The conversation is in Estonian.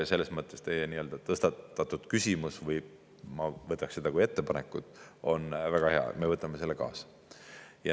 Selles mõttes teie tõstatatud küsimus, ma võtaks seda kui ettepanekut, on väga hea, me võtame selle kaasa.